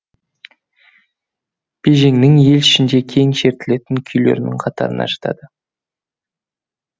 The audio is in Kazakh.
бежеңнің ел ішінде кең шертілетін күйлерінің қатарына жатады